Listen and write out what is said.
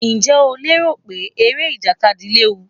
Ǹjẹ́ o rò pé eré ìjàkadì léwu?